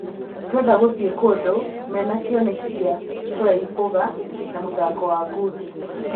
"Tũrendaga gũthiĩ kũndũ mena kĩoneki gĩa kũraihũga Na műthako wa ngundi.